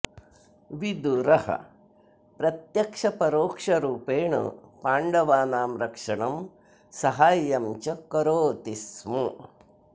विदुरः प्रत्यक्षपरोक्षरूपेण पाण्डवानां रक्षणं साहाय्यं च करोति स्म